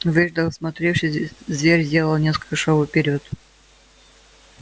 выждав и осмотревшись зверь сделал несколько шагов вперёд